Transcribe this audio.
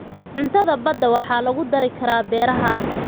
Cuntada badda waxaa lagu dari karaa beeraha.